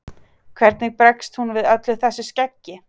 Hvernig bregst hún við öllu þessu skeggi?